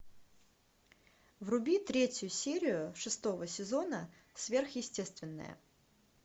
вруби третью серию шестого сезона сверхъестественное